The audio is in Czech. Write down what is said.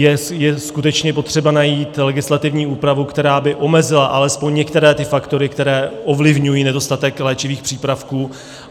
Je skutečně potřeba najít legislativní úpravu, která by omezila alespoň některé ty faktory, které ovlivňují nedostatek léčivých přípravků.